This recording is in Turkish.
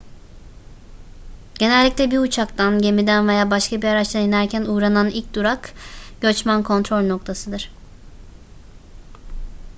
genellikle bir uçaktan gemiden veya başka bir araçtan inerken uğranan ilk durak göçmen kontrol noktasıdır